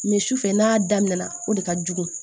su fɛ n'a daminɛna o de ka jugu